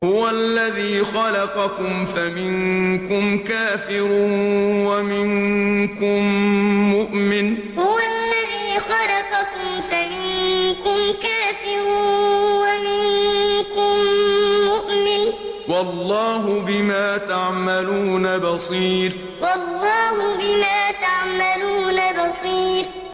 هُوَ الَّذِي خَلَقَكُمْ فَمِنكُمْ كَافِرٌ وَمِنكُم مُّؤْمِنٌ ۚ وَاللَّهُ بِمَا تَعْمَلُونَ بَصِيرٌ هُوَ الَّذِي خَلَقَكُمْ فَمِنكُمْ كَافِرٌ وَمِنكُم مُّؤْمِنٌ ۚ وَاللَّهُ بِمَا تَعْمَلُونَ بَصِيرٌ